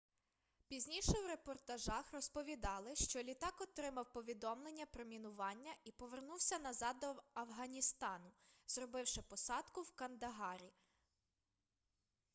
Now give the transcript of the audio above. пізніше у репортажах розповідали що літак отримав повідомлення про мінування і повернувся назад до афганістану зробивши посадку в кандагарі